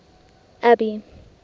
abby